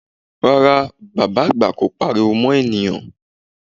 Rárá, bàbá àgbà kò pariwo mọ́ ènìyàn